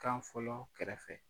Kan fɔlɔ kɛrɛfɛ